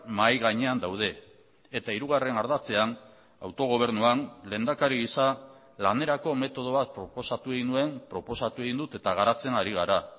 mahai gainean daude eta hirugarren ardatzean autogobernuan lehendakari gisa lanerako metodo bat proposatu egin nuen proposatu egin dut eta garatzen ari gara